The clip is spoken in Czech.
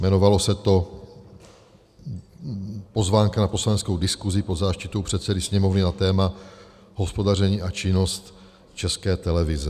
Jmenovalo se to pozvánka na poslaneckou diskusi pod záštitou předsedy Sněmovny na téma hospodaření a činnost České televize.